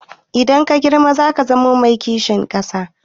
Idan ka girma zaka zamo mai kishin ƙasa?